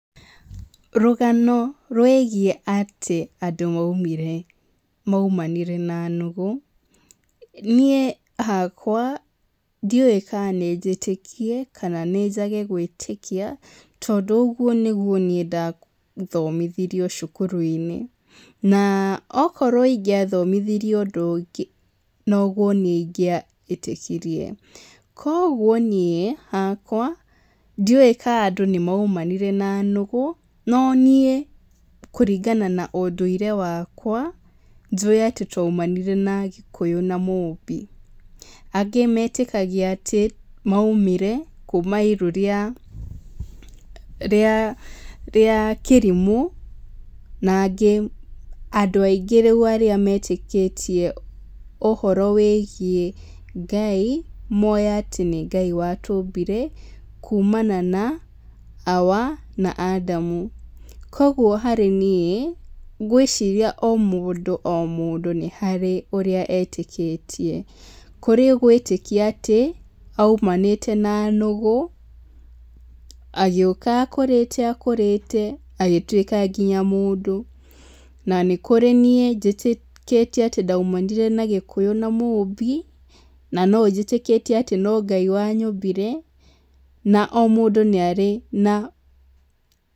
Rũgano rwĩgiĩ atĩ andũ maumire, maumanire na nũgũ, niĩ hakwa, ndiũwĩ ka nĩ njĩtĩkie, kana nĩnjage gwĩtĩkia, tondũ ũguo nĩguo niĩ ndathomithirio cukuru-inĩ, na akorwo ndathomithirio ũndũ ũngĩ, noguo niĩ ingĩa ĩtĩkirie, koguo niĩ hakwa, ndiũwĩ ka andũ nĩmaumanire na nũgũ, no niĩ, kũringana na ũndũire wakwa, njũĩ atĩ twaumanire na gĩkũyũ na mũmbi, angĩ metĩkagia atĩ maumire kuma iru rĩa, rĩa rĩa, kĩrimũ, na aingĩ andũ aingĩ rĩu arĩa metĩkĩtie ũhoro wĩgiĩ Ngai, mowĩ atĩ nĩ Ngai watũmbire kumana na awa na andamu, koguo harĩ niĩ ngwĩciria o mũndũ o mũndũ harĩ ũrĩa etĩkĩtie, kũrĩ ũgwĩtĩkia atĩ, aumanĩte na nũgĩ, agĩũka akũrĩte akũrĩte, agĩtwĩka nginya mũndũ, na nĩkũrĩ niĩ, nĩ njĩtĩkĩtie atĩ ndaumanire na gĩkũyũ na mũmbi, na nonjĩtĩkĩtie atĩ no Ngai wanyũmbire, na o mũndũ nĩarĩ na...